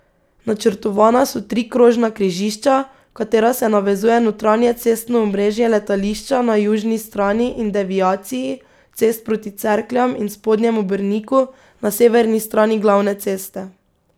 Načrtovana so tri krožna križišča, v katera se navezuje notranje cestno omrežje letališča na južni strani in deviaciji cest proti Cerkljam in Spodnjemu Brniku na severni strani glavne ceste.